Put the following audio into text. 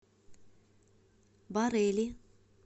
барели